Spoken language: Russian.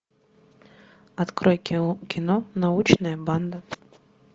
открой кино научная банда